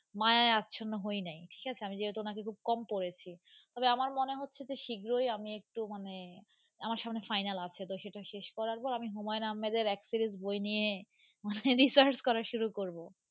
মায়ায় আচ্ছন্ন হই নাই ঠিক আছে আমি যেহেতু ওনাকে খুব কম পড়েছি, তবে আমার মনে হচ্ছে যে শীঘ্রই আমি একটু মানে আমার সামনে final আছে, তো সেটা শেষ করার পর আমি হুমায়ুন আহমেদের এক series বই নিয়ে মানে research করা শুরু করব.